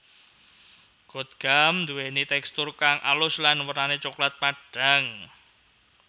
Gotgam duweni tekstur kang alus lan wernane coklat padhang